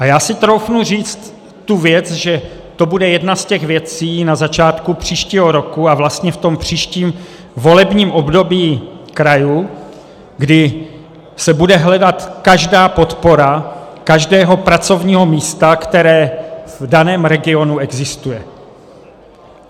A já si troufnu říct tu věc, že to bude jedna z těch věcí na začátku příštího roku a vlastně v tom příštím volebním období krajů, kdy se bude hledat každá podpora každého pracovního místa, které v daném regionu existuje.